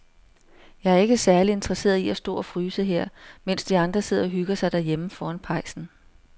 Jeg er ikke særlig interesseret i at stå og fryse her, mens de andre sidder og hygger sig derhjemme foran pejsen.